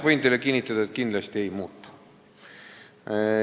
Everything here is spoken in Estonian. Võin teile kinnitada, et kindlasti ei muutu.